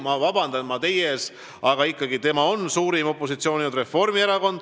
Ma palun teilt vabandust, aga Reformierakond on ikkagi suurim opositsioonijõud.